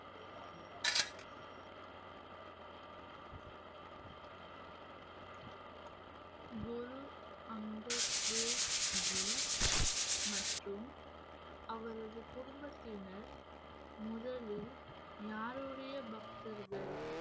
குரு அங்கத் தேவ்ஜி மற்றும் அவரது குடும்பத்தினர் முதலில் யாருடைய பக்தர்கள்